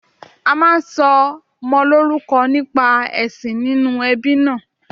A máa ń sọmọ lórúkọ nípa èsìn inú ebí náà